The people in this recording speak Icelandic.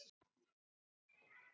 Það hefur ræst.